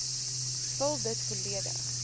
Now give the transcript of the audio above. vul dit volledig